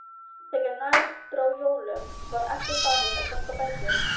Þegar nær dró jólum var ekkert farið að ganga betur.